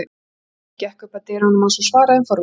Marteinn gekk upp að dyrunum án þess að svara þeim forvitnu.